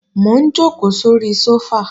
Mò ń jòkó sóri sófà